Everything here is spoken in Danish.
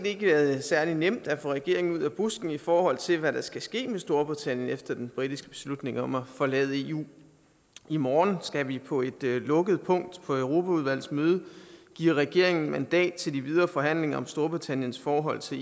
ikke særlig nemt at få regeringen ud af busken i forhold til hvad der skal ske med storbritannien efter den britiske beslutning om at forlade eu i morgen skal vi på et lukket punkt på europaudvalgets møde give regeringen mandat til de videre forhandlinger om storbritanniens forhold til